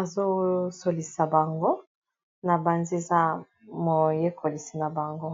azosolisa bango na banzeza moyekolisi na bango